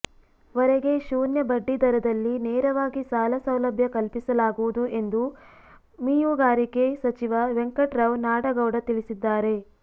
ವರೆಗೆ ಶೂನ್ಯ ಬಡ್ಡಿ ದರದಲ್ಲಿ ನೇರವಾಗಿ ಸಾಲ ಸೌಲಭ್ಯ ಕಲ್ಪಿಸಲಾಗುವುದು ಎಂದು ಮೀಉಗಾರಿಕೆ ಸಚಿವ ವೆಂಕಟ ರಾವ್ ನಾಡಗೌಡ ತಿಳಿಸಿದ್ದಾರೆ